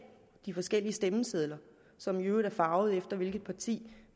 forskellige stemmesedler som i øvrigt farve efter hvilket parti